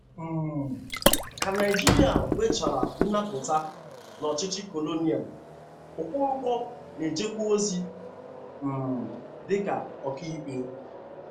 um Ka Naijiria nwechara nnapụta n'ọchịchị colonial, Okonkwo na-ejekwa ozi um dịka ọkaikpe